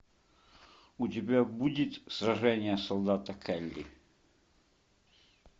у тебя будет сражение солдата келли